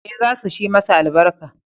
Ee, za su shi masa albarka